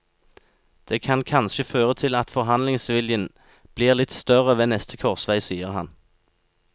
Det kan kanskje føre til at forhandlingsviljen blir litt større ved neste korsvei, sier han.